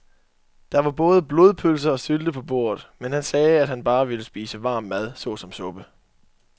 Der var både blodpølse og sylte på bordet, men han sagde, at han bare ville spise varm mad såsom suppe.